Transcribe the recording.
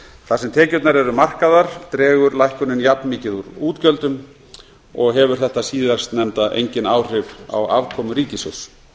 þar sem tekjurnar eru markaðar dregur lækkunin jafn mikið úr útgjöldum og hefur þetta síðastnefnda engin áhrif á afkomu ríkissjóðs